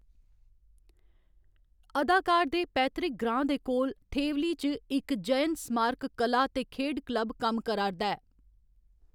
अदाकार दे पैतृक ग्रांऽ दे कोल थेवली च इक जयन स्मारक कला ते खेढ क्लब कम्म करा 'रदा ऐ।